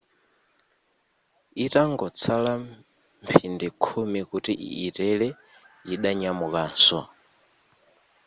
itangotsala mphindi khumi kuti yitere yidanyamukanso